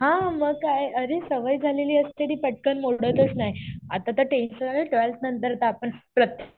हा मग काय. अरे सवय झालेली असते. ती पटकन मोडतच नाही. आता तर टेंशन आलंय. ट्वेल्थ नंतर तर आपण